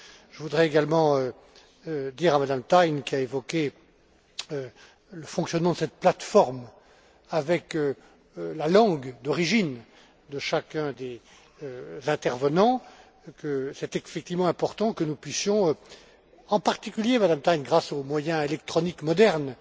Je voudrais également dire à Mme Thein, qui a évoqué le fonctionnement de cette plateforme avec la langue d'origine de chacun des intervenants, qu'il est effectivement important que nous puissions le faire, en particulier grâce aux moyens électroniques modernes.